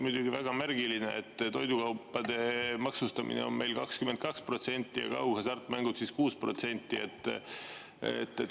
Muidugi, väga märgiline on, et toidukaupa maksustatakse meil 22%‑ga ja kaughasartmänge 6%‑ga.